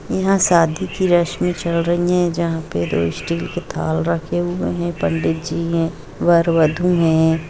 यहां शादी की रस्में चल रही है जहां पर दो स्टील की थाल रखे हुए है पंडित जी है वर वधू है।